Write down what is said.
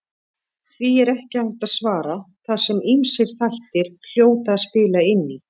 Því er ekki hægt að svara þar sem ýmsir þættir hljóta að spila inn í.